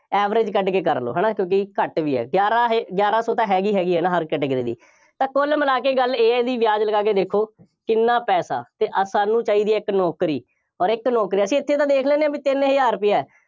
average ਕੱਢ ਕੇ ਕਰ ਲਓ, ਹੈ ਨਾ, ਕਿਉਂਕਿ ਘੱਟ ਵੀ ਹੈ, ਗਿਆਰਾ ਇਹ ਗਿਆਰਾ ਸੋ ਤਾਂ ਹੈਗੀ ਹੈਗੀ ਹੈ ਹਰ category ਦੀ, ਤਾਂ ਕੁੱਲ ਮਿਲਾ ਕੇ ਗੱਲ ਇਹ ਹੈ ਬਈ ਵਿਆਜ਼ ਲਗਾ ਕੇ ਦੇਖੋ, ਕਿੰਨਾ ਪੈਸਾ ਅਤੇ ਅਸਾਂ ਨੂੰ ਚਾਹੀਦੀ ਹੈ ਇੱਕ ਨੌਕਰੀ, ਅੋਰ ਇਕ ਨੌਕਰੀ, ਅਸੀਂ ਇੱਥੇ ਤਾਂ ਦੇਖ ਲੈਂਦੇ ਹਾਂ ਬਈ ਤਿੰਨ ਹਜ਼ਾਰ ਰੁਪਇਆ,